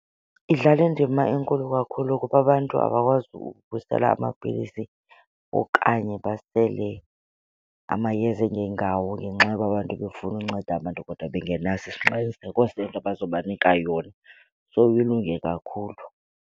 Idlala indima enkulu kakhulu kuba abantu abakwazi ukusela amapilisi okanye basele amayeza angengawo ngenxa yoba abantu befuna unceda abantu kodwa bengenaso isiqiniseko sento abazobanika yona. So ilunge kakhulu.